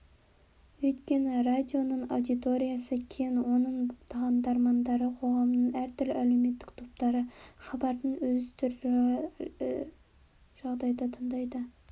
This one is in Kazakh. өйткені радионың аудиториясы кең оның тыңдармандары қоғамның әртүрлі әлеуметтік топтары хабардың өзі түрлі жағдайда тыңдалады